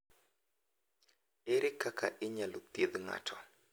Ere kaka inyalo thiedh ng’ato?